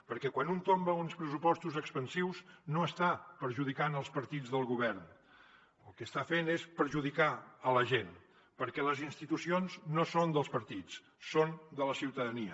perquè quan un tomba uns pressupostos expansius no està perjudicant els partits del govern el que està fent és perjudicar la gent perquè les institucions no són dels partits són de la ciutadania